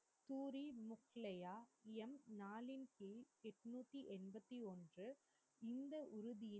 பூரி முக்லையா எம் நாளின் கீழ் எட்னுதி ஏம்பாதி ஒன்று இந்த உறுதி